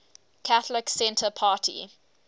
catholic centre party